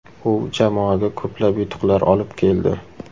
U jamoaga ko‘plab yutuqlar olib keldi.